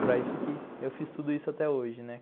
Para isso que eu fiz tudo isso até hoje.